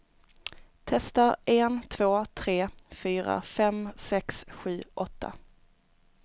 Testar en två tre fyra fem sex sju åtta.